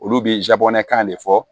Olu bɛ zabanɛkan de fɔ